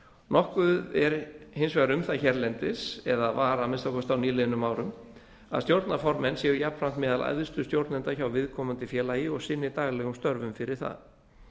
nokkuð er hins vegar um það hérlendis eða var að minnsta kosti á nýliðnum árum að stjórnarformenn séu jafnframt meðal æðstu stjórnenda hjá viðkomandi félagi og sinni daglegum störfum fyrir það